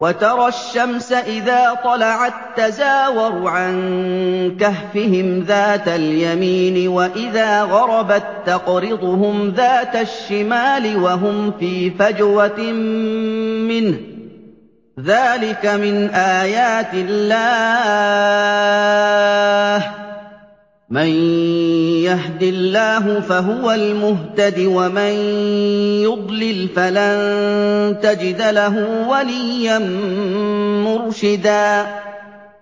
۞ وَتَرَى الشَّمْسَ إِذَا طَلَعَت تَّزَاوَرُ عَن كَهْفِهِمْ ذَاتَ الْيَمِينِ وَإِذَا غَرَبَت تَّقْرِضُهُمْ ذَاتَ الشِّمَالِ وَهُمْ فِي فَجْوَةٍ مِّنْهُ ۚ ذَٰلِكَ مِنْ آيَاتِ اللَّهِ ۗ مَن يَهْدِ اللَّهُ فَهُوَ الْمُهْتَدِ ۖ وَمَن يُضْلِلْ فَلَن تَجِدَ لَهُ وَلِيًّا مُّرْشِدًا